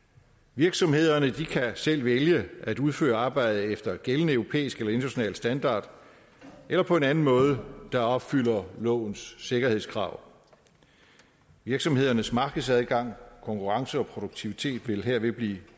virksomhederne kan selv vælge at udføre arbejdet efter gældende europæisk eller international standard eller på en anden måde der opfylder lovens sikkerhedskrav virksomhedernes markedsadgang konkurrence og produktivitet vil herved blive